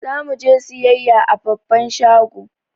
Zamu je siyayya a babban shago